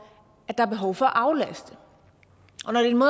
der er behov for at aflaste